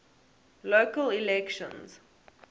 local elections